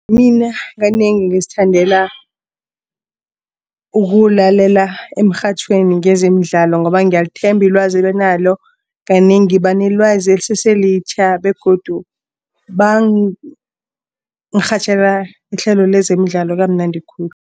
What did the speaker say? Mina kanengi ngizithandela ukuwulalela emrhatjhweni ngezemidlalo ngoba ngiyalithemba ilwazi abanalo. Kanengi banelwazi eliseselitjha begodu bangirhatjhela ihlelo lezemidlalo kamnandi khulu.